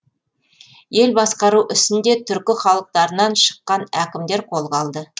ел басқару ісін де түркі халықтарынан шыққан әкімдер қолға алды